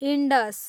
Indus